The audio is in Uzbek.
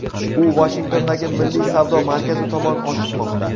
U Vashingtondagi Milliy savdo markazi tomon oshiqmoqda.